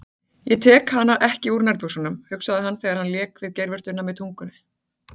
Ég tek hana ekki úr nærbuxunum, hugsaði hann þegar hann lék við geirvörtuna með tungunni.